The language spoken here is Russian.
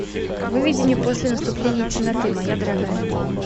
выведи мне после наступления темноты моя дорогая